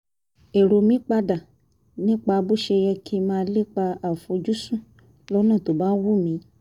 èrò mi pa dà nípa bó ṣe yẹ kí n máa lépa àfojúsùn lọ́nà tó bá wù mí